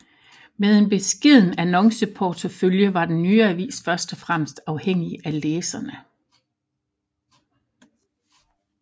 Med en beskeden annonceportefølje var den nye avis først og fremmest afhængig af læserne